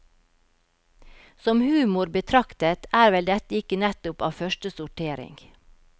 Som humor betraktet er vel dette ikke nettopp av første sortering.